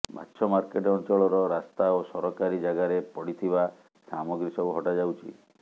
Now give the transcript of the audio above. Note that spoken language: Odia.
ମାଛ ମାର୍କେଟ ଅଞ୍ଚଳର ରାସ୍ତା ଓ ସରକାରୀ ଜାଗାରେ ପଡିଥିବା ସାମଗ୍ରୀ ସବୁ ହଟାଯାଉଛି